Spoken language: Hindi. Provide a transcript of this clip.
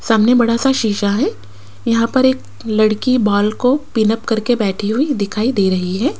सामने बड़ा सा शिशा है यहां पर एक लड़की बाल को पिनअप करके बैठी हुई दिखाई दे रही है।